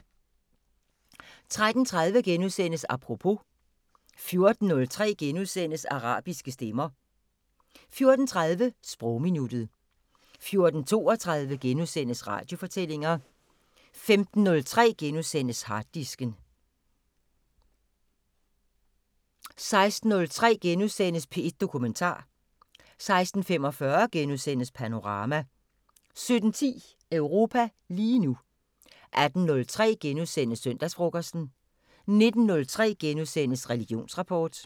13:30: Apropos * 14:03: Arabiske stemmer * 14:30: Sprogminuttet 14:32: Radiofortællinger * 15:03: Harddisken * 16:03: P1 Dokumentar * 16:45: Panorama * 17:10: Europa lige nu 18:03: Søndagsfrokosten * 19:03: Religionsrapport *